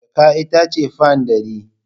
Jaka ita ce fan ɗari.